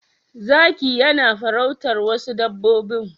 Zakiyanafarautar wasu dabbobbi